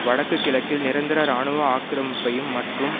வடக்கு கிழக்கில் நிரந்தர இராணுவ ஆக்கிரமிப்பையும் மற்றும்